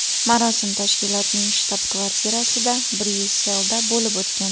Marosim tashkilotning shtab-kvartirasida Bryusselda bo‘lib o‘tgan.